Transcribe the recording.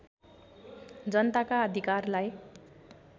जनताका अधिरकारलाई